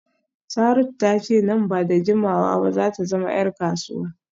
Saratu ta ce nan ba da jimawa ba za ta zama ‘yar kasuwa